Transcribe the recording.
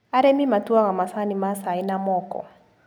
Arĩmi matuaga macani ma cai na moko.